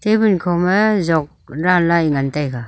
tabon khoma jok danla ngan taiga.